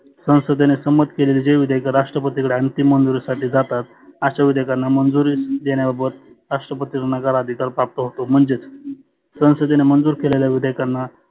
संसदेने सम्मत केलेले जे विधेयक राष्ट्रपती कडं अंतीम मंजुरीसाठी जातात अशा विधेयकांना मंजुरी देणे बाबत राष्ट्रपतींना नकार अधिकार प्राप्त होतो. म्हणजेच संसदेने मंजुर केलेल्या विधेयकांना